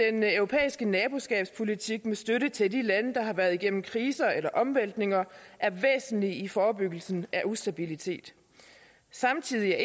europæiske naboskabspolitik med støtte til de lande der har været igennem kriser eller omvæltninger er væsentlig i forebyggelsen af ustabilitet samtidig er